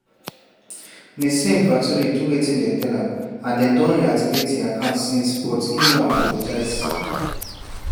nissim vaturi do wetin dem tell am and dem don reactivate im account since but im no apologise.